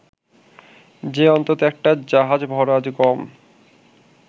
যে অন্তত একটা জাহাজভরা গম